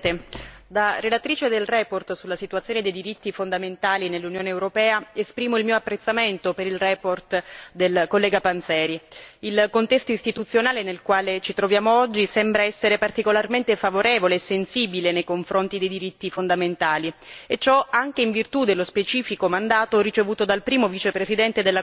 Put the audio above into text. colleghi, da relatrice della relazione sulla situazione dei diritti fondamentali nell'Unione europea, esprimo il mio apprezzamento per la relazione del collega Panzeri. Il contesto istituzionale nel quale ci troviamo oggi sembra essere particolarmente favorevole e sensibile nei confronti dei diritti fondamentali e ciò anche in virtù dello specifico mandato ricevuto dal primo vicepresidente della Commissione e del suo ruolo di garante della Carta dei diritti fondamentali.